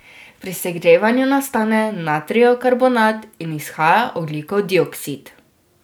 Pri segrevanju nastane natrijev karbonat in izhaja ogljikov dioksid.